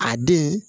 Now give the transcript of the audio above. A den